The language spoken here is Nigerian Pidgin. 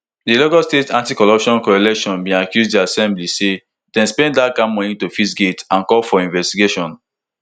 di lagos state anticorruption coalition bin accuse di assembly say dem spend dat kain money to fix gate and dem call for investigation